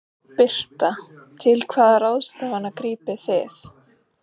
Birta: Til hvaða ráðstafana grípið þið?